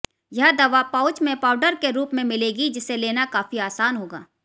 यह दवा पाउच में पाउडर के रूप में मिलेगी जिसे लेना काफी आसान होगा